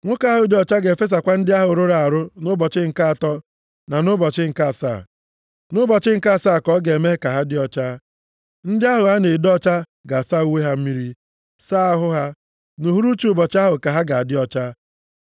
Nwoke ahụ dị ọcha ga-efesakwa ndị ahụ rụrụ arụ nʼụbọchị nke atọ na nʼụbọchị nke asaa. Nʼụbọchị nke asaa ka ọ ga-eme ka ha dị ọcha. Ndị ahụ a na-edo ọcha ga-asa uwe ha mmiri, saa ahụ ha, nʼuhuruchi ụbọchị ahụ ka ha ga-adị ọcha.